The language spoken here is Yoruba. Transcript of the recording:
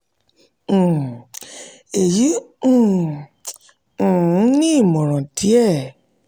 um èyí um um ni ìmọ̀ràn díẹ̀